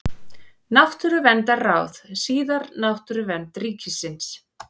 Náttúruverndarráð, síðar Náttúruvernd ríkisins.